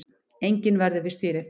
Enginn verður við stýrið